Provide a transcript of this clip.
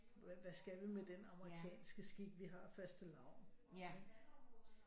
Hvad skal vi med den amerikanske skik vi har fastelavn